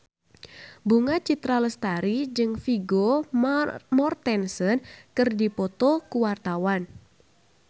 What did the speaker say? Bunga Citra Lestari jeung Vigo Mortensen keur dipoto ku wartawan